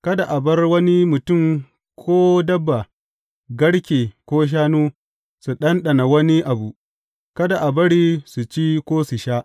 Kada a bar wani mutum ko dabba, garke ko shannu, su ɗanɗana wani abu; kada a bari su ci ko su sha.